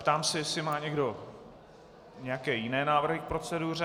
Ptám se, jestli má někdo nějaké jiné návrhy k proceduře.